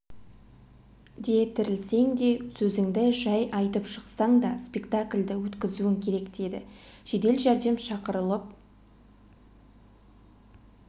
де тірілсең де сөзіңді жәй айтып шықсаң да спектакльді өткізуің керек деді жедел жәрдем шақырылып